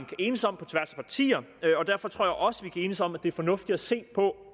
kan enes om og derfor tror jeg også vi kan enes om det fornuftige se på